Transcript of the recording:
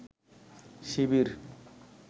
শিবির